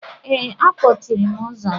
Ee, akpọchiri m ụzọ gị.